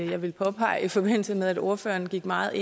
jeg ville påpege i forbindelse med at ordføreren gik meget